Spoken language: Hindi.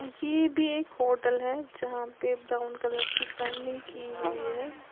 ये भी एक होटल है यहां पे ब्राउन कलर की की हुई है।